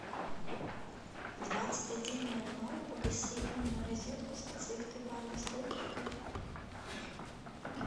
в двадцать один ноль ноль погаси умную розетку с подсветкой барной стойки в кухне